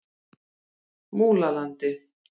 Múlalandi